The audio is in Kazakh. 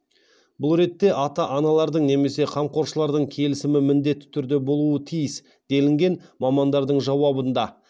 бұл ретте ата аналардың немесе қамқоршылардың келісімі міндетті түрде болуы тиіс делінген мамандардың жауабында